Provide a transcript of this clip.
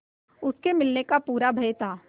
उसके मिलने का पूरा भय था